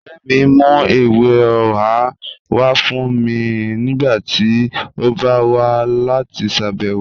Ọ̀rẹ́ mì n mú èwè ọ̀hà wà fún mì nígbàtí ó bá wà láti ṣábẹ̀wọ̀